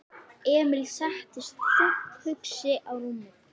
Emil settist þungt hugsi á rúmið.